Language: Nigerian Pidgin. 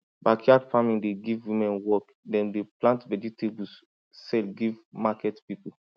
backyard farming dey give women work dem dey plant vegetables sell give market people